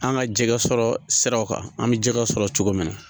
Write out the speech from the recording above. An ka jɛgɛ sɔrɔ siraw kan an bɛ jɛgɛ sɔrɔ cogo min na